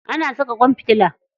Ana saka ƙwan fitila.